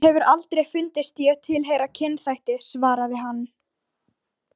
Mér hefur aldrei fundist ég tilheyra kynþætti, svaraði hann.